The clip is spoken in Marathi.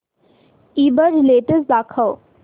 ईबझ लेटेस्ट दाखव